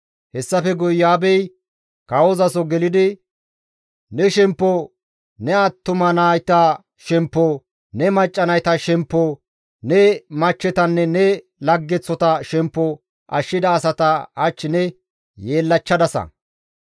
Hessafe guye Iyo7aabey kawozaso gelidi, «Ne shemppo, ne attuma nayta shemppo, ne macca nayta shemppo, ne machchetanne ne laggeththota shemppo ashshida asata hach ne yeellachchadasa.